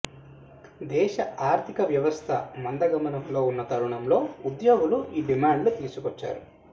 దేశ ఆర్థిక వ్యవస్థ మందగమనంలో ఉన్న తరుణంలో ఉద్యోగులు ఈ డిమాండ్లు తీసుకొచ్చారు